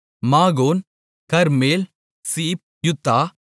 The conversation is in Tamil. Magon Carmel Ziph Juttah